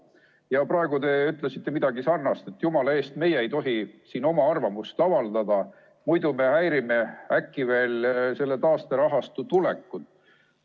Ja praegu te ütlesite midagi sarnast, et jumala eest, meie ei tohi siin oma arvamust avaldada, muidu me häirime äkki veel selle taasterahastu tulekut.